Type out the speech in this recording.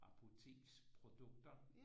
Apoteksprodukter